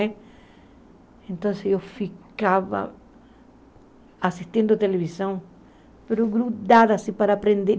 Né então assim eu ficava assistindo televisão, mas grudada assim para aprender.